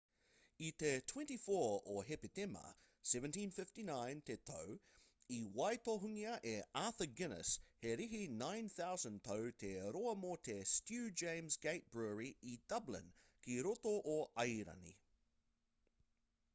i te 24 o hepetema 1759 te tau i waitohungia e arthur guiness he rīhi 9,000 tau te roa mō te stew james' gate brewery i dublin ki roto o airani